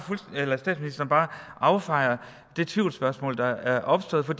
affejer det tvivlsspørgsmål der er opstået for